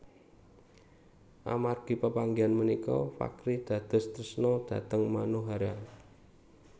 Amargi pepanggihan punika Fakhry dados tresna dhateng Manohara